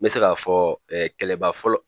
N bɛ se k'a fɔ kɛlɛba fɔlɔ